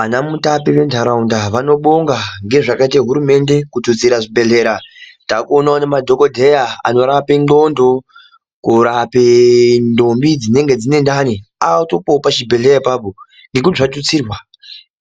Ana mutape ventaraunda vanobonga ngezvakaite hurumende kututsira zvibhedhlera. Takuonawo nemadhogodheya anorape ndxondo, kurape ndombi dzinenge dzine ndani. Atowopo pachibhedhleya apapo ngekuti zvatutsirwa.